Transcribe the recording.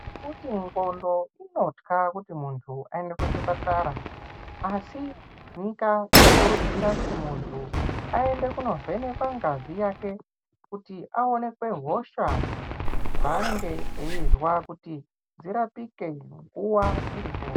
Nekuti ngondo inotya kuti muntu aende kuchipatara asi nyika inokurudzira muntu aende kunovhenekwa ngazi yake kuti aonekwe hosha dzanenge achinzwa kuti dzirapike nguva iripo.